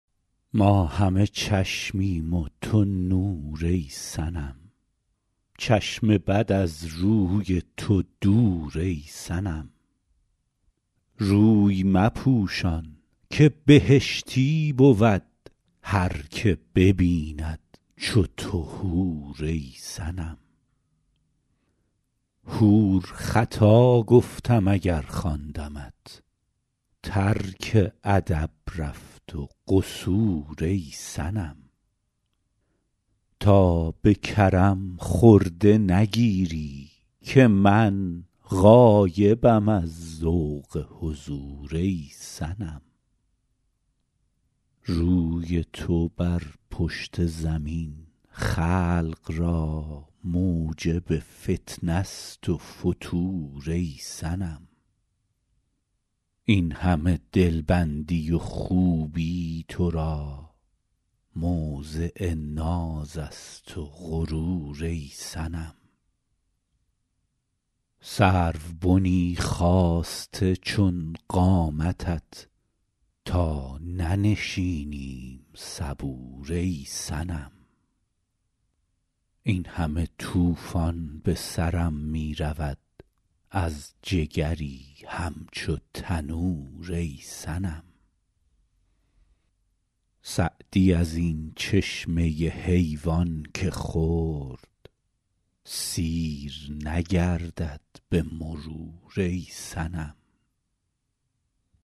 ما همه چشمیم و تو نور ای صنم چشم بد از روی تو دور ای صنم روی مپوشان که بهشتی بود هر که ببیند چو تو حور ای صنم حور خطا گفتم اگر خواندمت ترک ادب رفت و قصور ای صنم تا به کرم خرده نگیری که من غایبم از ذوق حضور ای صنم روی تو بر پشت زمین خلق را موجب فتنه ست و فتور ای صنم این همه دلبندی و خوبی تو را موضع ناز است و غرور ای صنم سروبنی خاسته چون قامتت تا ننشینیم صبور ای صنم این همه طوفان به سرم می رود از جگری همچو تنور ای صنم سعدی از این چشمه حیوان که خورد سیر نگردد به مرور ای صنم